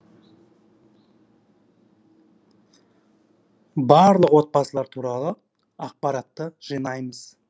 барлық отбасылар туралы ақпаратты жинаймыз